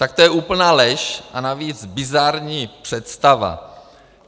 Tak to je úplná lež a navíc bizarní představa.